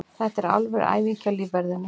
Þetta er alvöru æfing hjá lífverðinum.